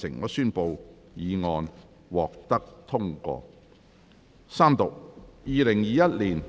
我宣布議案獲得通過。